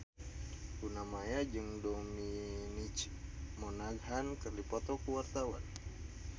Luna Maya jeung Dominic Monaghan keur dipoto ku wartawan